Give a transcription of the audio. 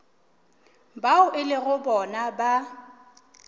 bao e lego bona ba